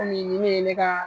nin ne ye ne ka